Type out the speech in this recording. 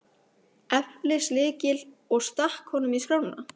eflis lykil og stakk honum í skrána.